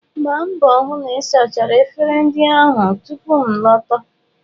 Gbaa mbọ hụ na ị sachara efere ndị ahụ tupu m a lọta.